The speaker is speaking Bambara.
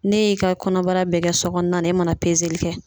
Ne y'i ka kɔnɔbara bɛɛ kɛ so kɔnɔna na, e mana kɛ